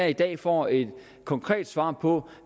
i dag får et konkret svar på